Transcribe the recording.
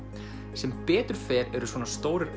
sem betur fer eru svona stórir